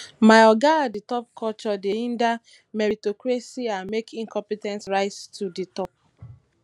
my oga at di top culture dey hinder meritocracy and make incompe ten t rise to di top